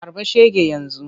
Harba shege yanzu!